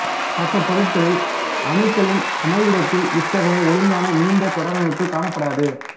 மற்ற பொருட்களில் அணுக்களின் அமைவிடத்தில் இத்தகைய ஒழுங்கான நீண்ட தொடரமைப்பு காணப்படாது